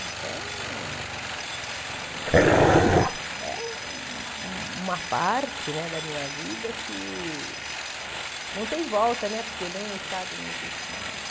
Então, é um um uma parte né da minha vida que não tem volta, porque nem o estádio não existe mais.